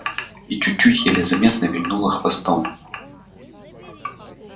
и чуть-чуть еле заметно вильнула хвостом